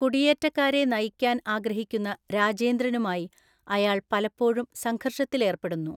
കുടിയേറ്റക്കാരെ നയിക്കാൻ ആഗ്രഹിക്കുന്ന രാജേന്ദ്രനുമായി അയാൾ പലപ്പോഴും സംഘര്‍ഷത്തിലേര്‍പ്പെടുന്നു.